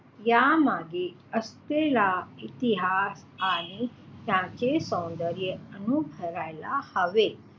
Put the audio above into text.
यामागे असलेला इतिहास आणि त्याचे सौन्दर्य अनुभवायला हवे.